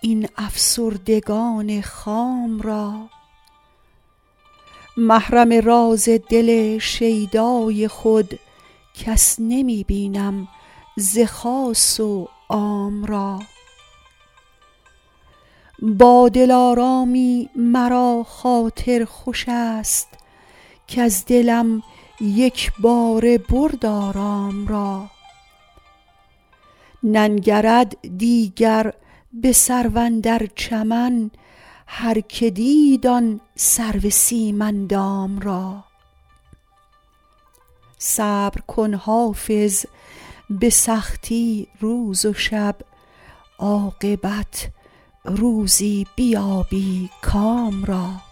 این افسردگان خام را محرم راز دل شیدای خود کس نمی بینم ز خاص و عام را با دلارامی مرا خاطر خوش است کز دلم یک باره برد آرام را ننگرد دیگر به سرو اندر چمن هرکه دید آن سرو سیم اندام را صبر کن حافظ به سختی روز و شب عاقبت روزی بیابی کام را